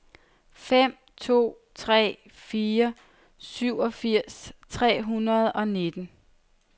fem to tre fire syvogfirs tre hundrede og nitten